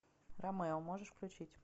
ромео можешь включить